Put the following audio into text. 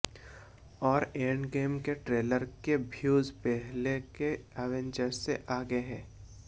और एंडगेम के ट्रेलर के व्यूज पहले के एवेंजर से आगे है